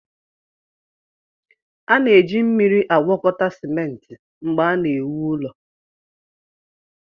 A na-eji mmiri agwọkọta simenti mgbe a na-ewu ụlọ